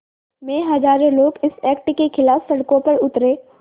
में हज़ारों लोग इस एक्ट के ख़िलाफ़ सड़कों पर उतरे